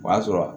O y'a sɔrɔ